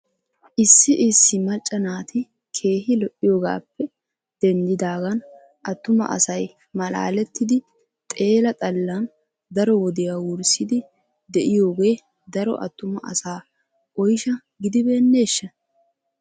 Issi issi macca naati keehi lo'iyoogappe denddidagan attuma asay malaalettidi xeela xallan daro wodiya wurssidi de'iyooge daro attuma asaa oyshsha kiyibeneshsha?